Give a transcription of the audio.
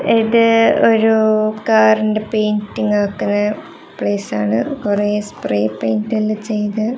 ഇത് ഒരു കാറിന്റെ പെയിന്റിങ് ആക്കുന്ന പ്ലേസ് ആണ് കുറേ സ്പ്രൈ പെയിന്റ് എല്ലാം ചെയ്ത്--